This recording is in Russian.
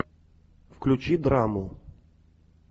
включи драму